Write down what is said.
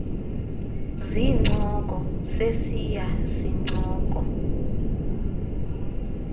zincoko sesiya sincoko